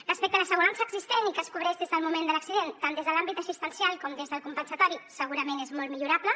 respecte a l’assegurança existent i que els cobreix des del moment de l’accident tant des de l’àmbit assistencial com des del compensatori segurament és molt millorable